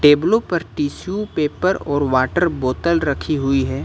टेबलों पर tissue paper water वाटर बोतल रखी हुई है।